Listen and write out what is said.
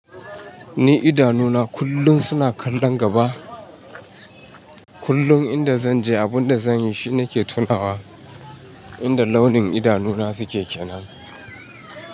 Ni idanuna kullum suna kallon gaba. Kullum inda zan je, abin da zanyi shina ke tunawa inda launin idanuna suke kenan.